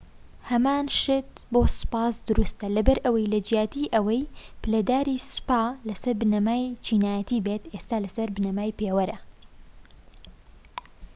هەمان شت بۆ سوپاش دروستە لەبەرئەوەی لە جیاتی ئەوەی پلەداری سوپا لەسەر بنەمای چینایەتی بێت ئێستا لەسەر بنەمای پێوەرە